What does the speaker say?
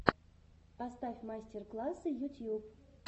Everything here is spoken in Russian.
поставь мастер классы ютьюб